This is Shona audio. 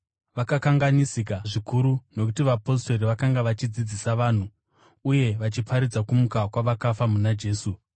Vakakanganisika zvikuru nokuti vapostori vakanga vachidzidzisa vanhu uye vachiparidza kumuka kwavakafa muna Jesu.